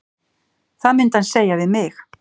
Það myndi hann segja við mig.